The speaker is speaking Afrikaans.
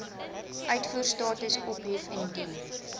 uitvoerstatus ophef indien